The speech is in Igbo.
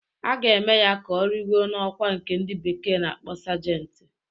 A ga-eme ya ka origo n'ọkwá nke ndị bekee na-akpọ Sajenti